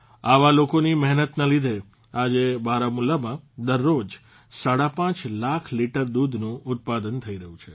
આવા લોકોની મહેનતના લીધે આજે બારામુલામાં દરરોજ સાડાપાંચ લાખ લીટર દૂધનું ઉત્પાદન થઇ રહ્યું છે